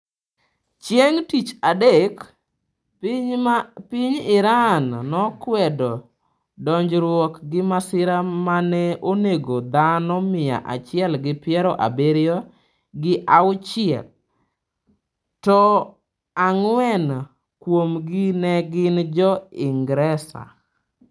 Chieng’ tich adek, piny Iran nokwedo donjruok gi masira ma ne onego dhano mia achiel gi piero abiriyo gi auchie, to ang’wen kuomgi ne gin jo Ingresa.